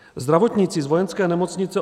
Zdravotníci z Vojenské nemocnice